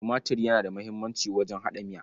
Tumatir yana da muhimmanci wajen haɗa miya.